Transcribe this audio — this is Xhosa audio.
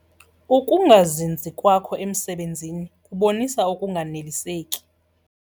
Ukungazinzi kwakho emisebenzini kubonisa ukunganeliseki.